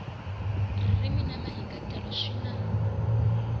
ririmi ni mahikahatelo swi na